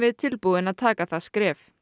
tilbúin að taka það skref